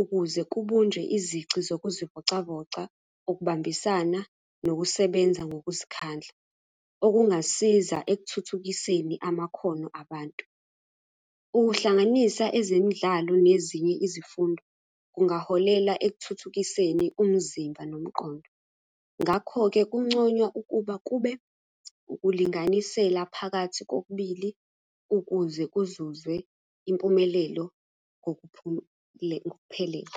ukuze kubunjwe izici zokuzivocavoca, ukubambisana, nokusebenza ngokuzikhandla. Okungasiza ekuthuthukiseni amakhono abantu. Ukuhlanganisa ezemidlalo nezinye izifundo kungaholela ekuthuthukiseni umzimba nomqondo. Ngakho-ke kunconywa ukuba kube ukulinganisela phakathi kokubili ukuze kuzuzwe impumelelo ngokuphelele.